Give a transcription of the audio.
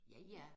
Ja ja